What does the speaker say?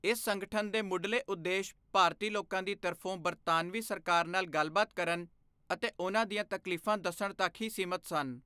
ਇਸ ਸੰਗਠਨ ਦੇ ਮੁਢਲੇ ਉਦੇਸ਼ ਭਾਰਤੀ ਲੋਕਾਂ ਦੀ ਤਰਫੋਂ ਬਰਤਾਨਵੀ ਸਰਕਾਰ ਨਾਲ ਗੱਲਬਾਤ ਕਰਨ ਅਤੇ ਉਨ੍ਹਾਂ ਦੀਆਂ ਤਕਲੀਫਾਂ ਦੱਸਣ ਤੱਕ ਹੀ ਸੀਮਿਤ ਸਨ।